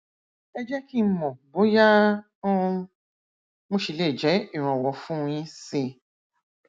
ẹ jẹ kí n mọ bóyá um mo ṣì le jẹ ìrànwọ fún un yín síi